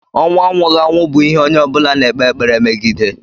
Ọnwụ anwụghị anwụ bụ ihe onye ọ bụla na-ekpe ekpere megide.